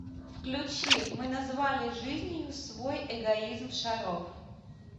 включи мы назвали жизнью свой эгоизм шаров